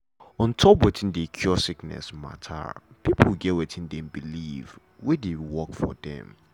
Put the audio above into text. ontop wetin dey cure sickness mata pipo get wetin dem believe wey dey work for dem.